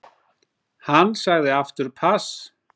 Hann sagði aftur pass.